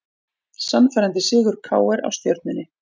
Sannfærandi sigur KR á Stjörnunni